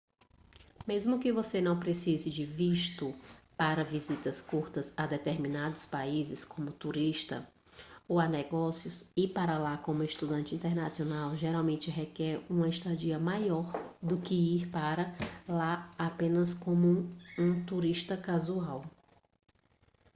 mesmo que você não precise de visto para visitas curtas a determinados países como turista ou a negócios ir para lá como estudante internacional geralmente requer uma estadia maior do que ir para lá apenas como um turista casual